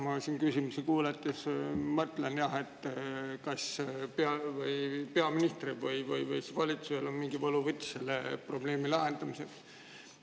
Ma siin küsimusi kuulates mõtlesin, et kas peaministril või valitsusel on mingi võluvits selle probleemi lahendamiseks.